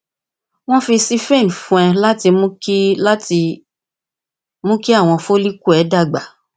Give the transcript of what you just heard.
wọn fi síphene fún ọ láti mú kí láti mú kí àwọn follicle rẹ dàgbà